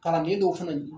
Kalanden dɔw fana ye